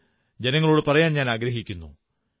അത് ജനങ്ങളോടു പറയാനാഗ്രഹിക്കുന്നു